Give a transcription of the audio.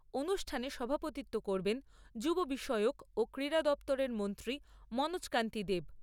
অনুষ্ঠানে সভাপতিত্ব করবেন যুব বিষয়ক ও ক্রীড়া দপ্তরের মন্ত্রী মনোজ কান্তি দেব।